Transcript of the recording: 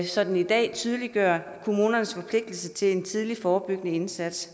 så den i dag tydeliggør kommunernes forpligtelse til en tidlig forebyggende indsats